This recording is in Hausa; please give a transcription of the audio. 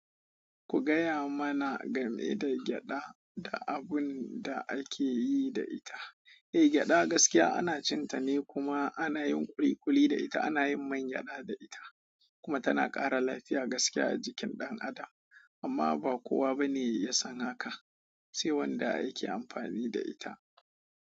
Ku gaya mana game da gyada da abun da ake yi da ita. Eh, gyada gaskiya ana cin ta ne kuma ana yin ƙuliƙuli da ita, ana yin man gyada da ita kuma tana ƙara lafiya gaskiya a jikin ɗan adam. Amma ba kowa bane ya san hakan, sai wanda yake amfani da ita.